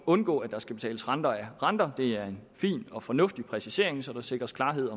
undgå at der skal betales renter af renter det er en fin og fornuftig præcisering så der sikres klarhed